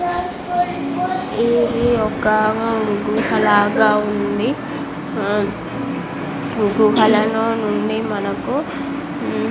ఇది ఒక గుహ లాగా ఉంది. గుహలు నుండి మనకు --